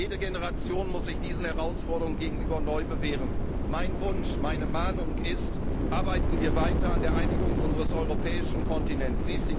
Jede Generation muss sich diesen Herausforderungen gegenüber neu bewähren. Mein Wunsch, meine Mahnung ist Arbeiten wir weiter an der Einigung unseres europäischen Kontinents!